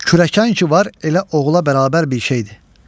Kürəkən ki var, elə oğula bərabər bir şeydir.